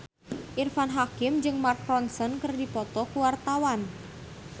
Irfan Hakim jeung Mark Ronson keur dipoto ku wartawan